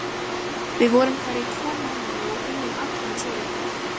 Við vorum þar í tvo mánuði og unnum allan sólarhringinn.